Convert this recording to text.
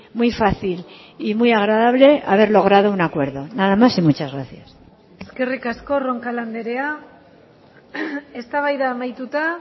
muy fácil y muy agradable haber logrado un acuerdo nada más y muchas gracias eskerrik asko roncal andrea eztabaida amaituta